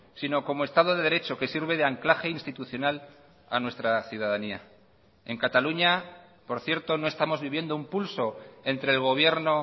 sino como estado de derecho que sirve de anclaje institucional a nuestra ciudadanía en cataluña por cierto no estamos viviendo un pulso entre el gobierno